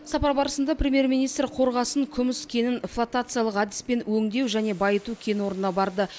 сапар барысында премьер министр қорғасын күміс кенін флотациялық әдіспен өңдеу және байыту кен орнына барды